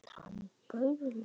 Hann bauð mér!